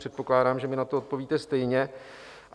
Předpokládám, že mi na to odpovíte stejně.